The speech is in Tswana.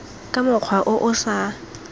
ka mokgwa o o sa